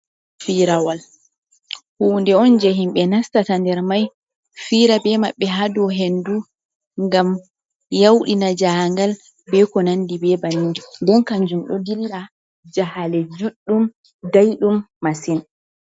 Firoowal huunde on je himɓe nastata nder mai, fira be maɓɓe haaɗo hendu, ngam yau ɗina jahaangal be ko nandi be bannin, ndeen kanjum ɗo dilla jahaale juɗɗum, dai ɗum masin.